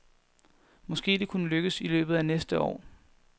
Måske det kunne lykkes i løbet af næste år.